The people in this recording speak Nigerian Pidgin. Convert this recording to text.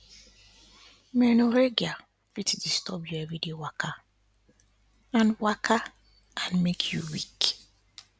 menorrhagia fit disturb your everyday waka and waka and make you weak